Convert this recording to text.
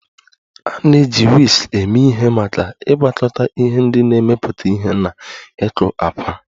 A na-eji Whisk eme ihe maka ịgwakọta ihe ndị na-emepụta ihe na ịkụ àkwá